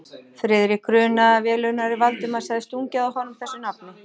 Friðrik grunaði, að velunnari Valdimars hefði stungið að honum þessu nafni.